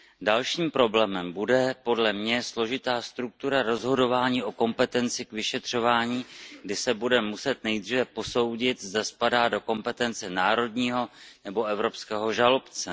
Dalším problémem bude podle mě složitá struktura rozhodování o kompetenci k vyšetřování, kdy se bude muset nejdříve posoudit, zda spadá do kompetence národního nebo evropského žalobce.